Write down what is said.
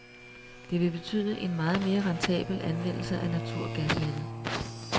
Det vil betyde en meget mere rentabel anvendelse af naturgasnettet.